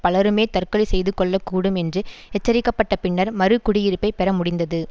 பலருமே தற்கொலை செய்துகொள்ளக்கூடும் என்று எச்சரிக்கப்பட்ட பின்னர் மறு குடியிருப்பை பெற முடிந்தது